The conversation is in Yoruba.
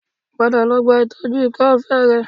Padà lọ gba ìtọ́jú ikọ́ọfe rẹ